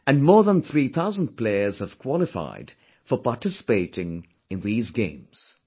And more than 3000 players have qualified for participating in these games